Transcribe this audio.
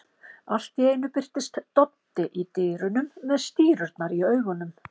Allt í einu birtist Doddi í dyrunum með stírurnar í augunum.